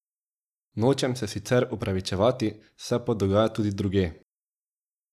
Nočem se sicer opravičevati, se pa dogaja tudi drugje.